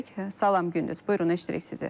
Salam Gündüz, buyurun, eşidirik sizi.